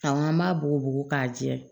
Ka an b'a bugubugu k'a jɛ